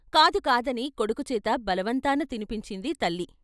కాదు కాదని కొడుకు చేత బలవంతాన తినిపించింది తల్లి.